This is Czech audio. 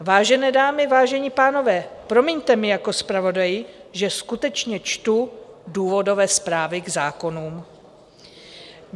Vážené dámy, vážení pánové, promiňte mi jako zpravodaji, že skutečně čtu důvodové zprávy k zákonům.